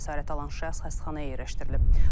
Xəsarət alan şəxs xəstəxanaya yerləşdirilib.